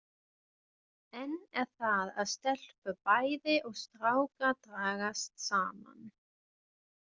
Enn er það að stelpur bæði og strákar dragast saman.